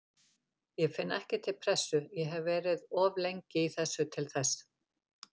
Ég finn ekki til pressu, ég hef verið of lengi í þessu til þess.